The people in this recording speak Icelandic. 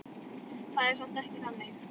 Það er samt ekki þannig.